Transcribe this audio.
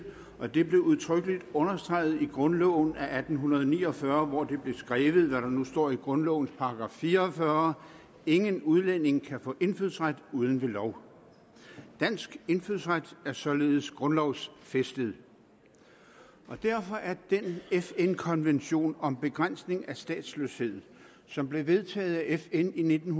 og det blev udtrykkeligt understreget i grundloven af atten ni og fyrre hvor det blev skrevet hvad der nu står i grundlovens § 44 ingen udlænding kan få indfødsret uden ved lov dansk indfødsret er således grundlovsfæstet derfor er den fn konvention om begrænsning af statsløshed som blev vedtaget af fn i nitten